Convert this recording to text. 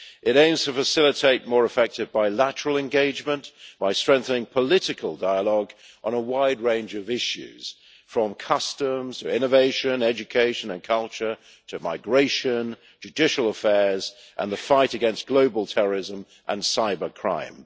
It aims to facilitate more effective bilateral engagement by strengthening political dialogue on a wide range of issues, from customs to innovation, education and culture, to migration, judicial affairs and the fight against global terrorism and cybercrime.